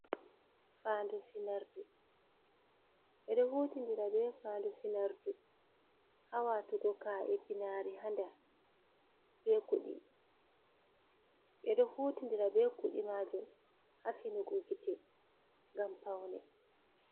Fandu finordu ɓeɗo hutindira be fandu finordu ha watugo ka'e pinari hander be kuɗi, ɓeɗo hutindira be kuɗi majum ha finugo gite ngam paune.